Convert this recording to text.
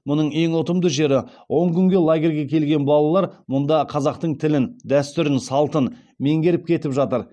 мұның ең ұтымды жері он күнге лагерьге келген балалар мұнда қазақтың тілін дәстүрін салтын меңгеріп кетіп жатыр